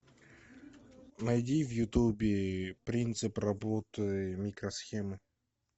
найди в ютубе принцип работы микросхемы